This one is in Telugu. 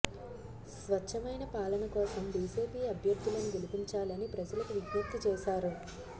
స్వచ్ఛమైన పాలన కోసం బీజేపీ అభ్యర్థులను గెలిపించాలని ప్రజలకు విజ్ఞప్తి చేశారు